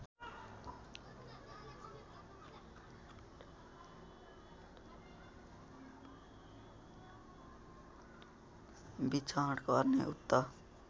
विचरण गर्ने उक्त